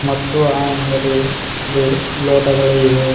ಮತ್ತು ಆ ಅಂಗಡಿ ಲಿ ಲೋಟಗಳು ಇವೆ.